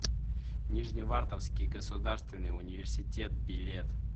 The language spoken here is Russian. нижневартовский государственный университет билет